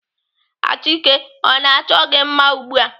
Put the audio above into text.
Achike ọ na-achọ gị mma ugbu a?